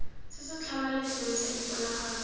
se se tlhamaletseng sa diponagalo